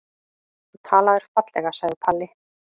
Þú talaðir fallega, sagði Palli.